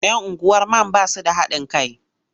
Yan unguwar man ba su da haɗin kai.